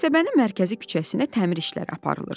Qəsəbənin mərkəzi küçəsinə təmir işləri aparılırdı.